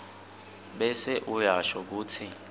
bese uyasho kutsi